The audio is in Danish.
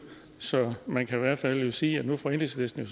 så man kan i hvert fald sige at nu får enhedslisten